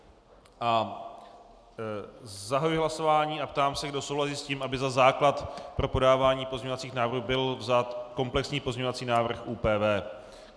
Zahajuji hlasování a ptám se, kdo souhlasí s tím, aby za základ pro podávání pozměňovacích návrhů byl vzat komplexní pozměňovací návrh ÚPV.